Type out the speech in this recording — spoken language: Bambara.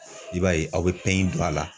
I b'a ye aw bɛ don a la.